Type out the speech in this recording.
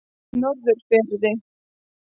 Norðurfirði